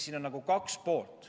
Siin on nagu kaks poolt.